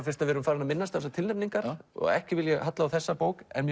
fyrst við erum farin að minnast á tilnefningar og ekki vil ég halla á þessa bók en